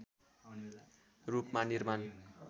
रूपमा निर्माण